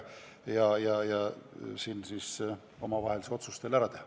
Saate siin omavahel selle otsuse ära teha.